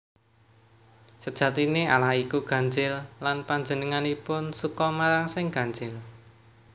Sejatiné Allah iku ganjil lan Panjenenganipun suka marang sing ganjil